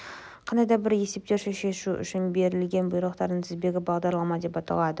қандай да бір есепті шешу үшін берілген бұйрықтардың тізбегі бағдарлама деп аталады